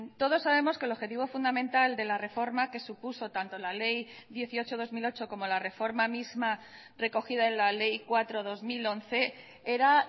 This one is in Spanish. todos sabemos que el objetivo fundamental de la reforma que supuso tanto la ley dieciocho barra dos mil ocho como la reforma misma recogida en la ley cuatro barra dos mil once era